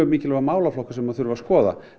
mikilvægur málaflokkur sem þarf að skoða